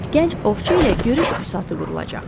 Gənc ovçu ilə görüş büsatı qurulacaq.